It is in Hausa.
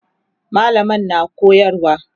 mallamar na koyarwa